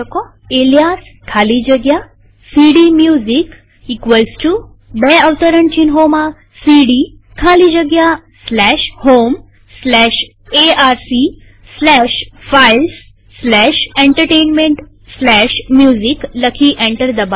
alias ખાલી જગ્યા CD music બે અવતરણ ચિહ્નોમાં સીડી ખાલી જગ્યા slash home slash ARC slash files slash entertainment slash music લખી અને એન્ટર દબાવીએ